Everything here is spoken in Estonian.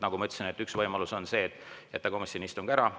Nagu ma ütlesin, üks võimalus on jätta komisjoni istung ära.